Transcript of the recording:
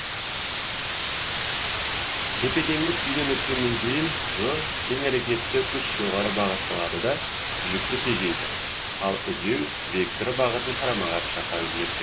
тепе теңдік күйден өткеннен кейін ғ теңәрекетті күш жоғары бағытталады да жүкті тежейді а үдеу векторы бағытын қарама қарсы жаққа өзгертеді